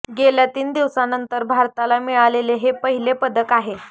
गेल्या तीन दिवसानंतर भारताला मिळालेले हे पहिले पदक आहे